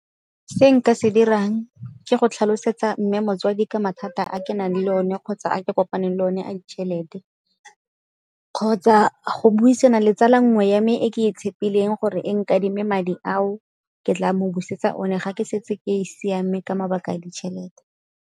Se nka se dirang ke go tlhalosetsa mme motsadi ka mathata a ke nang le one kgotsa a ke kopaneng le one a ditšhelete, kgotsa go buisana le tsala nngwe ya me e ke e tshepileng gore e nkadime madi ao ke tla mo busetsa one ga ke setse ke siame ka mabaka ditšhelete.